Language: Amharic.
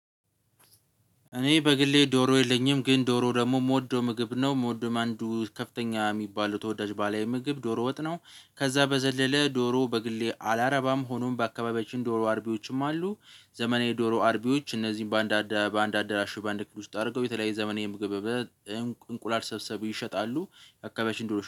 እኔ በግሌ ዶሮ የለኝም ግን ዶሮ ደግሞ የምወደው ምግብ ነው የምወደውም አንዱ ከፍተኛ የሚባሉት ወዳጅ ባለምግብ ዶሮ ወጥ ነው። ከዛ በዘለለ ዶሮ በግሌ አላረባም ሆኖም በአካባቢዎችም ዶሮ አርቢዎችም አሉ። ዘመናዊ ዶሮ አርቢዎች እነዚህን በአንድ አደራሽ በአንድ ክፍል ውስጥ አድርገው የተለያየ ዘመናዊ ምግብ እንቁላል ሰብሰቡ ይሸጣሉ። አካባቢያችን ድሮ